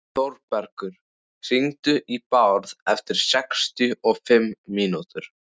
Þórbergur, hringdu í Bárð eftir sextíu og fimm mínútur.